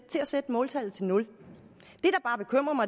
til at sætte måltallet til nul